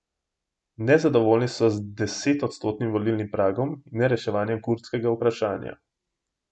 Nezadovoljni so z desetodstotnim volilnim pragom in nereševanjem kurdskega vprašanja.